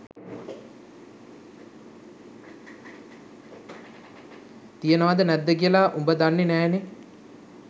තියනවද නැද්ද කියලා උඹ දන්නෙ නෑනේ.